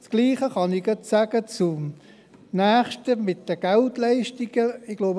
Das Gleiche kann ich zum nächsten Punkt betreffend die Geldleistungen sagen.